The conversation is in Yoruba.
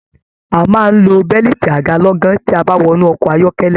A máa n lọ bẹ̀liiti aga lọ̀gan ti a ba wọnú ọkọ ayọkẹlẹ.